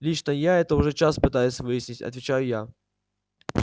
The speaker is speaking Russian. лично я это уже час пытаюсь выяснить отвечаю я